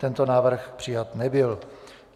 Tento návrh přijat nebyl.